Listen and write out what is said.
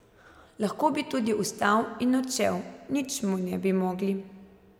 Lahko bi tudi vstal in odšel, nič mi ne bi mogli.